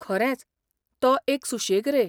खरेंच, तो एक सुशेग रे.